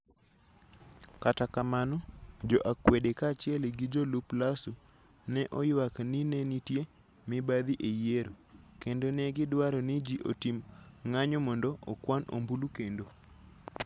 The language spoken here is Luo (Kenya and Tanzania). Kata kamano, jo akwede kaachiel gi jolup Lasso, ne oywak ni ne nitie mibadhi e yiero, kendo ne gidwaro ni ji otim ng'anyo mondo okwan ombulu kendo.